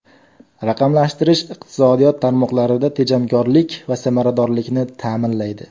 Raqamlashtirish iqtisodiyot tarmoqlarida tejamkorlik va samaradorlikni ta’minlaydi.